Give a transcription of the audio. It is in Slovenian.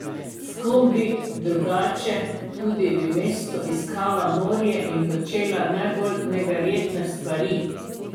S kom bi drugače tudi v mestu iskala morje in počela najbolj neverjetne stvari?